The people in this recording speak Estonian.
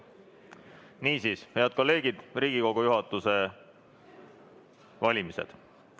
Niisiis, head kolleegid, Riigikogu juhatuse valimised.